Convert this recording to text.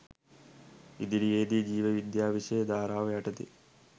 ඉදිරියේදී ජීව විද්‍යාව විෂය ධාරාව යටතේ